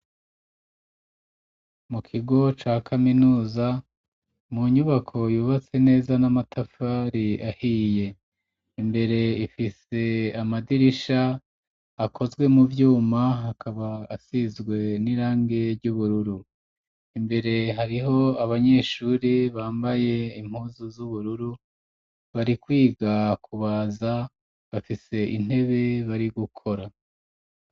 Mu kigo ca kaminuza, mu nyubako yubatse neza n'amatafari ahiye, imbere ifise amadirisha akozwe mu vyuma akaba asizwe n'irangi ry'ubururu, imbere hariho abanyeshuri bambaye impuzu z'ubururu bari kwiga kubaza bafise intebe bari gukora.